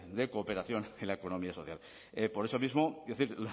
de cooperación en la economía social por eso mismo quiero decir